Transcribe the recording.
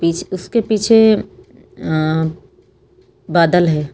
उसके पीछे अ बादल है।